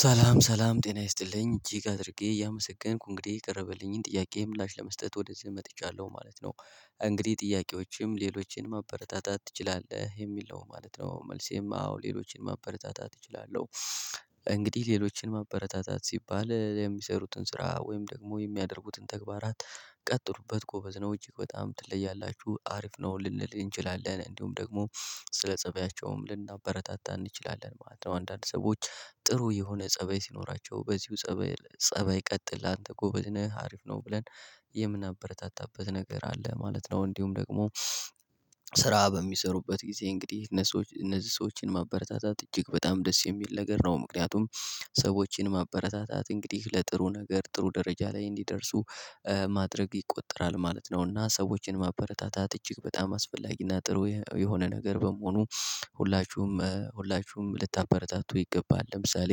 ሰላም ሰላም ጤና ይስጥልኝ እጅግ አድርጌ እያመሰገንኩ እንግዲህ የቀረበልኝን ጥያቄም ላሽ ለመስጠት ወደዚህ መጥቻለሁ ማለት ነው። እንግዲህ ጥያቄዎችም ሌሎችን መበረታታት ትችላለህ? የሚል ነው ማለት ነው መልሴም አዎ ሌሎችን ማበረታታት እችላለሁ። እንግዲህ ሌሎችን ማበረታታት ሲባል የሚሰሩትን ስራ ወይም ደግሞ የሚያደርጉትን ተግባራት ቀጥሉበት ጎበዝ ነው እጅግ በጣም ትለያላችሁ አሪፍ ነው ልንል እንችላለን እንዲሁም ደግሞ ስለ ፀባያቸውም ልናበረታታን እንችላለን ማለት ነው። አንዳንድ ሰዎች ጥሩ የሆነ ፀበይ ሲኖራቸው በዚሁ ፀባይ ፀባይ ቀጥል አንተ ጎበዝ ነህ አሪፍ ነው ብለን የምናበረታታበት ነገር አለ ማለት ነው። እንዲሁም ደግሞ ስራ በሚሰሩበት ጊዜ እንግዲህ እነዚህ ሰዎችን ማበረታታት እጅግ በጣም ደስ የሚል ነገር ነው። ምክንያቱም ሰዎችን ማበረታታት እንግዲህ ለጥሩ ነገር ጥሩ ደረጃ ላይ እንዲደርሱ ማድረግ ይቆጠራል ማለት ነውና። ሰዎችን ማበረታታት እጅግ በጣም አስፈላጊና ጥሩ የሆነ ነገር በመሆኑ ሁላችሁም ሁላችሁም ልታበረታቱ ይገባል። ለምሳሌ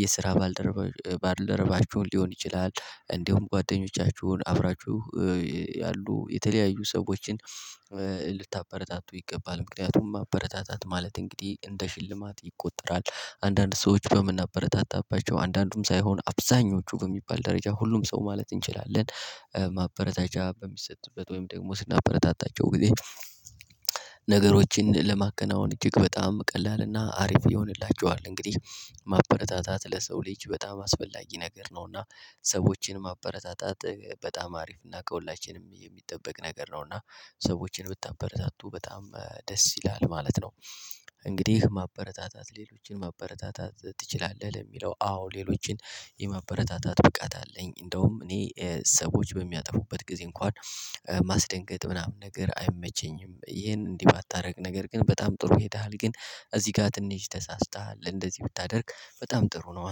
የስራ ባልደረባ ባልደረባችሁን ሊሆን ይችላል እንዲሁም ጓደኞቻችሁን አብራችሁ ያሉ የተለያዩ ሰዎችን ልታበረታቱ ይገባል ምክንያቱም ማበረታታት ማለት እንግዲህ እንደ ሽልማት ይቆጠራል። አንዳንድ ሰዎች በምናበረታታባቸው አንዳንዱም ሳይሆን አብዛኞቹ በሚባል ደረጃ ሁሉም ሰው ማለት እንችላለን ማበረታቻ በሚሰጥበት ወይም ደግሞ ስናበረታታቸው ጊዜ ነገሮችን ለማከናወን እጅግ በጣም ቀላልና አሪፍ ይሆንላችኋል። እንግዲህ ማበረታታት ለሰው ልጅ በጣም አስፈላጊ ነገር ነው። እና ሰዎችን ማበረታታት በጣም አሪፍ እና ከሁላችንም የሚጠበቅ ነገር ነውና ሰዎችን ብታበረታቱ በጣም ደስ ይላል ማለት ነው። እንግዲህ ማበረታታት ሌሎችን ማበረታታት ትችላለህ? ለሚለው አዎ ሌሎችን የማበረታታት ብቃት አለኝ እንደውም እኔ ሰዎች በሚያጠፉበት ጊዜ እንኳን ማስደንገጥ ምናምን ነገር አይመቸኝም። ይሄን እንዲህ ባታደርግ ነገር ግን በጣም ጥሩ ይሄዳል ግን እዚህ ጋር ትንሽ ተሳስተሃል እንደዚህ ብታደርግ በጣም ጥሩ ነው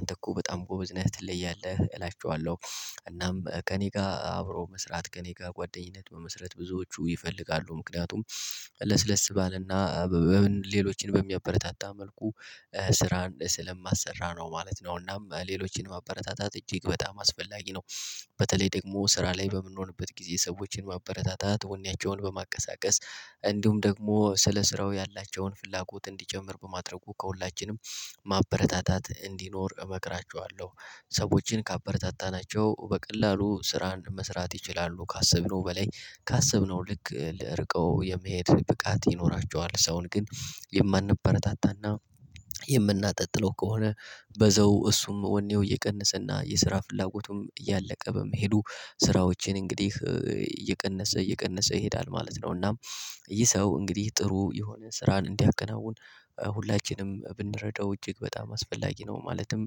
አንተ እኮ በጣም ጎበዝ ነህ ትለያለህ እላቸዋለሁ። እናም ከእኔ ጋር አብሮ መስራት ከእኔ ጋር ጓደኝነት በመስራት ብዙዎቹ ይፈልጋሉ ምክንያቱም ለስለስ ባለና ሌሎችን በሚያበረታታ መልኩ ስራ ስለማሰራ ነው ማለት ነው። እናም ሌሎችን ማበረታታት እጅግ በጣም አስፈላጊ ነው። በተለይ ደግሞ ስራ ላይ በምንሆንበት ጊዜ ሰዎችን ማበረታታት ወኔያቸውን በማቀሳቀስ እንዲሁም ደግሞ ስለ ስራው ያላቸውን ፍላጎት እንዲጨምር በማድረጉ ከሁላችንም ማበረታታት እንዲኖር እመክራችኋለሁ። ሰዎችን ካበረታታናቸው በቀላሉ ስራ መስራት ይችላሉ ካሰብነው በላይ ካሰብነው ልክ ለርቀው የመሄድ ብቃት ይኖራቸዋል። ሰውን ግን የማንበረታታና የምናጠጥለው ከሆነ በዘው እሱም ወኔው እየቀነሰና የስራ ፍላጎቱም እያለቀ በመሄዱ ስራዎችን እንግዲህ እየቀነሰ እየቀነሰ ይሄዳል ማለት ነው። እና ይህ ሰው እንግዲህ ጥሩ የሆነ ስራን እንዲያከናውን ሁላችንም ብንረዳው እጅግ በጣም አስፈላጊ ነው። ማለትም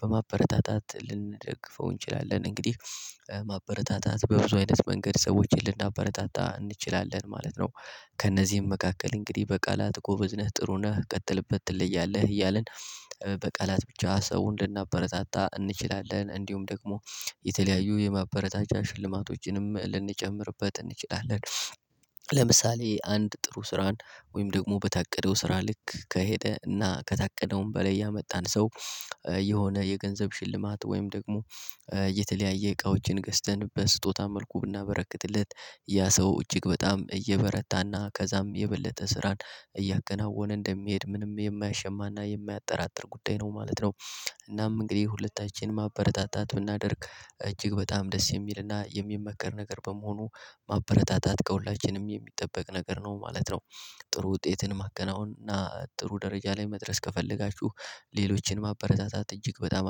በማበረታታት ልንደግፈው እንችላለን እንግዲህ ማበረታታት በብዙ አይነት መንገድ ሰዎችን ልናበረታታ እንችላለን ማለት ነው። ከእነዚህም መካከል እንግዲህ በቃላት ቁብዝነህ ጥሩ ነህ ቀጥልበት ትለያለህ እያልን። በቃላት ብቻ ሰው እንድናበረጣጣ እንችላለን እንዲሁም ደግሞ የተለያዩ የማበረታቻ ሽልማቶችንም ልንጨምርበት እንችላለን። ለምሳሌ አንድ ጥሩ ስራን ወይም ደግሞ በታቀደው ስራ ልክ ከሄደ እና ከታቀደውም በላይ ያመጣን ሰው የሆነ የገንዘብ ሽልማት ወይም ደግሞ የተለያየ እቃዎችን ገዝተን በስጦታ መልኩ ብናበረክትለት ያ ሰው እጅግ በጣም እየበረታና ከዛም የበለጠ ስራን እያገናወነ እንደሚሄድ ምንም የማያሸማና የማያጠራጥር ጉዳይ ነው ማለት ነው። እናም እንግዲህ ሁለታችንን ማበረታታት ብናደርግ እጅግ በጣም ደስ የሚልና የሚመከር ነገር በመሆኑ ማበረታታት ከሁላችንም የሚጠበቅ ነገር ነው ማለት ነው። ጥሩ ውጤትን ማከናወን እና ጥሩ ደረጃ ላይ መድረስ ከፈለጋችሁ ሌሎችን ማበረታታት እጅግ በጣም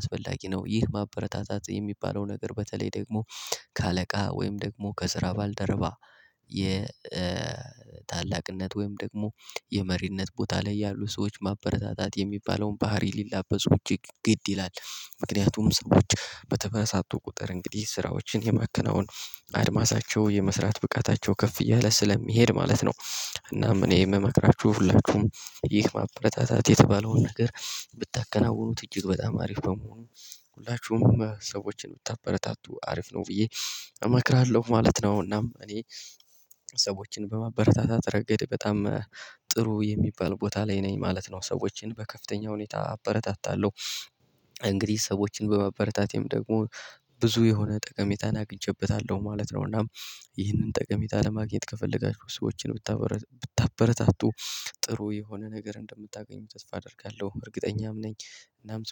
አስፈላጊ ነው። ይህ ማበረታታት የሚባለው ነገር በተለይ ደግሞ ከአለቃ ወይም ደግሞ ከስራ ባልደረባ የ የታላቅነት ወይም ደግሞ የመሪነት ቦታ ላይ ያሉ ሰዎች ማበረታታት የሚባለውን ባህሪ ሊላበስ ውጪ ግድ ይላል። ምክንያቱም ሰዎች በተበሳጡ ቁጥር እንግዲህ ስራዎችን የማከናወን አድማሳቸው የመስራት ብቃታቸው ከፍ የለ ስለሚሄድ ማለት ነው። እናም እኔ የምመክራችሁ ሁላችሁም ይህ ማበረታታት የተባለውን ነገር ብታከናውኑት እጅግ በጣም አሪፍ በመሆኑ ሁላችሁም ሰዎችን ብታበረታቱ አሪፍ ነው ብዬ እመክራለሁ ማለት ነው። እና እኔ ሰዎችን በማበረታታት ረገድ በጣም ጥሩ የሚባል ቦታ ላይ ነኝ ማለት ነው። ሰዎችን በከፍተኛ ሁኔታ አበረታታለሁ። እንግዲህ ሰዎችን በማበረታቴም ደግሞ ብዙ የሆነ ጠቀሜታን አግኝቼበታለሁ ማለት ነው። እናም ይህንን ጠቀሜታ ለማግኘት ከፈለጋችሁ ሰዎችን ብታበረ ብታበረታቱ ጥሩ የሆነ ነገር እንደምታገኙ ተስፋ አደርጋለሁ እርግጠኛም ነኝ እናም